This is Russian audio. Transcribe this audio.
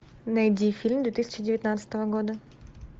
найди фильм две тысячи девятнадцатого года